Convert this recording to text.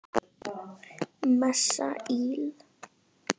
Messa íl.